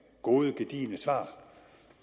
gode gedigne svar